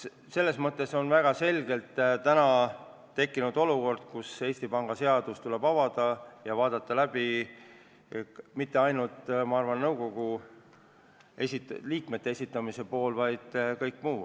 Selles mõttes on ilmselgelt tekkinud olukord, kus Eesti Panga seadus tuleb avada ja arutada läbi mitte ainult nõukogu liikmete esitamisse puutuv, vaid ka kõik muu.